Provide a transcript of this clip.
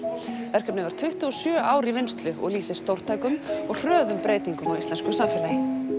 verkefnið var tuttugu og sjö ár í vinnslu og lýsir stórtækum og hröðum breytingum á íslensku samfélagi